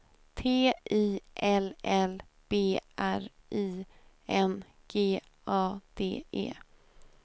T I L L B R I N G A D E